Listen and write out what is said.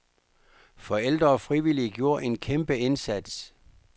Forældre og frivillige gjorde en kæmpeindsats.